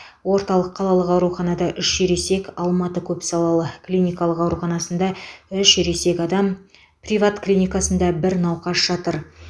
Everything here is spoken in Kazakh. орталық қалалық ауруханада үш ересек алматы көпсалалы клиникалық ауруханасында үш ересек адам приват клиникасында бір науқас жатыр